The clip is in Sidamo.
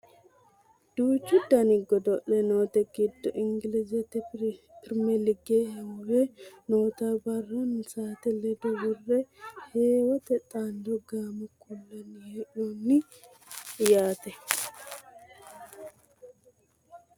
Duuchu dani godo'le noote giddo ingilizete pirimeelige heewo noota barranna saate ledo worre heewote xaadano gaamo kullanni hee'noonni yaate .